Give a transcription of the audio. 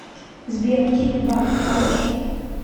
сбер киви банк хороший